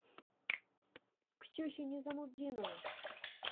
ксюхе низамутдиновой